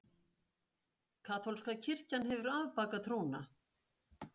Kaþólska kirkjan hefur afbakað trúna.